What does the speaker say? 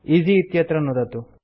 EC इत्यत्र नुदतु